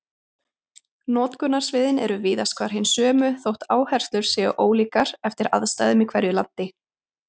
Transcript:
Notkunarsviðin eru víðast hvar hin sömu þótt áherslur séu ólíkar eftir aðstæðum í hverju landi.